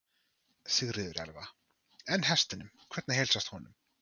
Sigríður Elva: En hestinum, hvernig heilsast honum?